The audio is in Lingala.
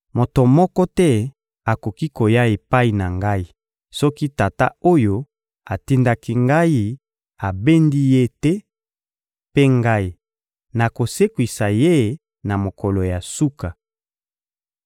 Moto moko te akoki koya epai na Ngai soki Tata oyo atindaki Ngai abendi ye te; mpe Ngai, nakosekwisa ye na mokolo ya suka.